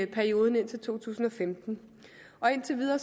perioden indtil to tusind og femten indtil videre